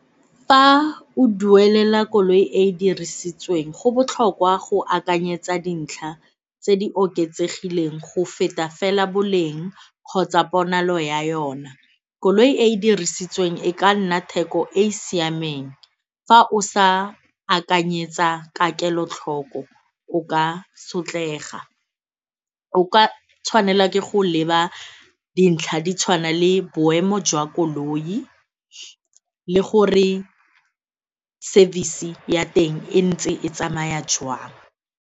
Fa o duelela koloi e e dirisitsweng go botlhokwa go akanyetsa dintlha tse di oketsegileng go feta fela boleng kgotsa ponalo ya yona. Koloi e e dirisitsweng e ka nna theko e e siameng fa o sa akanyetsa ka kelotlhoko o ka sotlega, o ka tshwanela ke go leba dintlha di tshwana le boemo jwa koloi le gore service ya teng e ntse e tsamaya jwang.